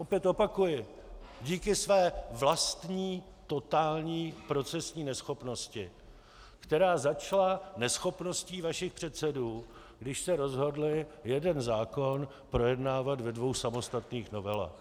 Opět opakuji: díky své vlastní totální procesní neschopnosti, která začala neschopností vašich předsedů, když se rozhodli jeden zákon projednávat ve dvou samostatných novelách.